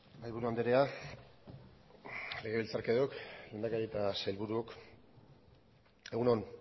mahaiburu andrea legebiltzarkideok lehendakari eta sailburuk egun on